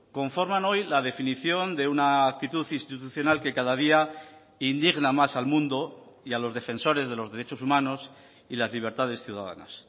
conforman hoy la definiciónde una actitud institucional que cada día indigna más al mundo y a los defensores de los derechos humanos y las libertades ciudadanas